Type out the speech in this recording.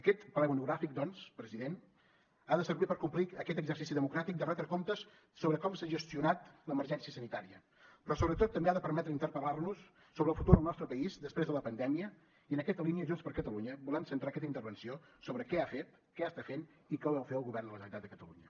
aquest ple monogràfic doncs president ha de servir per complir aquest exercici democràtic de retre comptes sobre com s’ha gestionat l’emergència sanitària però sobretot també ha de permetre interpel·lar nos sobre el futur del nostre país després de la pandèmia i en aquesta línia junts per catalunya volem centrar aquesta intervenció sobre què ha fet què està fent i què vol fer el govern de la generalitat de catalunya